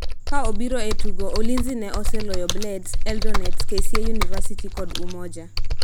Ka obiro e tugo, Ulinzi ne oseloyo Blades, Eldonets, KCA-University kod Umoja